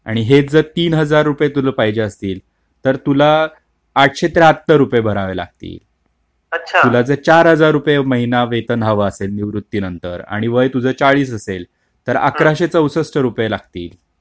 आणि हेच जर तीन हजार रुपये पाहिजे असतील तर तुला आठशे त्र्यहत्तर रुपये भरावे लागतील, तुला जर चार हजार रुपये महिना वेतन निवृत्तीनंतर आणि वय तुझ चाळीस असेल तर अकराशे चौसष्ठ रुपये लागतील.